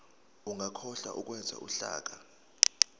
ungakhohlwa ukwenza uhlaka